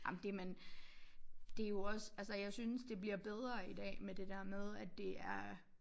Ej men det men det jo også altså jeg synes det bliver bedre i dag med det der med at det er